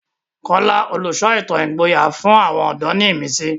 Kola, olùsọ ìtàn ìgboyà, fún àwọn ọ̀dọ́ ní ìmísí.